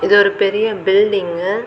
இது ஒரு பெரிய பில்டிங்கு .